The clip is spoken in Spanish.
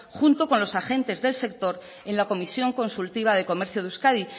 junto con los agentes del sector en la comisión consultiva de comercio de euskadi